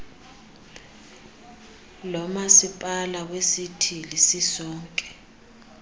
lomasipala wesithili sisonke